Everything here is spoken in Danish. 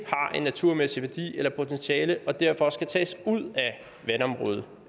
har en naturmæssig værdi eller potentiale til og derfor skal tages ud